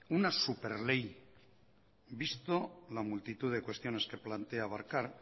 una súper ley visto la multitud de cuestiones que plantea abarcar